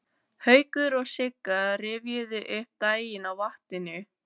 Haukur og Sigga rifjuðu upp daginn á vatninu.